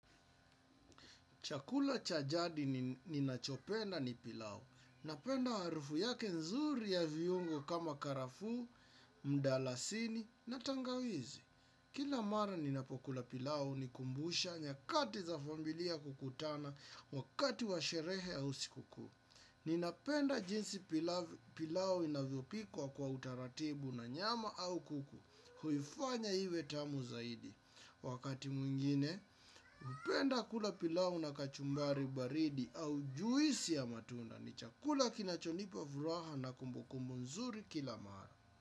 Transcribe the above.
Chakula cha jadi ninachopenda ni pilau. Napenda harufu yake nzuri ya viungo kama karafuu, mdalasini na tangawizi. Kila mara ninapokula pilau hunikumbusha nyakati za familia kukutana wakati wa sherehe au sikukuu. Ninapenda jinsi pilau inavyopikwa kwa utaratibu na nyama au kuku, huifanya iwe tamu zaidi. Wakati mwingine, hupenda kula pilau na kachumbari baridi au juisi ya matunda, ni chakula kinachonipa furaha na kumbukumbu nzuri kila mara.